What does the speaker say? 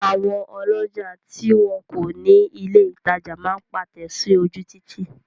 Àwọn ọlọ́jà tí wọn kọ̀ ní ilè ìtajà máa pátẹ̀ sí ojú Títì.